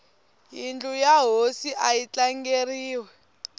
yindlu ya hosi ayi tlangeriwi